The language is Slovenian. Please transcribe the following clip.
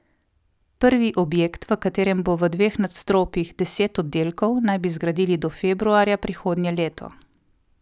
Prvi objekt, v katerem bo v dveh nadstropjih deset oddelkov, naj bi zgradili do februarja prihodnje leto.